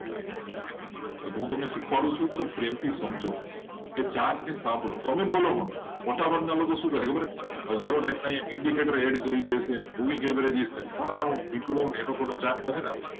હું તમને શીખવાડું છું તો પ્રેમથી સમજો કે ચાટને સાંભળો તમે બોલો મોટાભાગના લોકો શું કરે ખબર હજારો type ના આમ indicater add કરી દેશે ફલાણું અને એ લોકો માટે